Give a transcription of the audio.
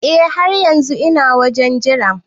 Eh har yanzun ina wajen Jira.